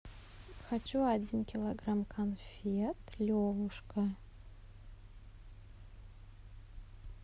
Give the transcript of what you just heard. хочу один килограмм конфет левушка